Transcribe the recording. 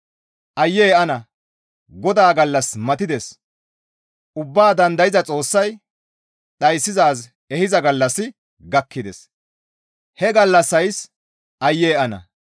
Aye ana! GODAA gallassi matides. Ubbaa dandayza Xoossay dhayssizaaz ehiza gallassi gakkides. He gallassays aayye ana!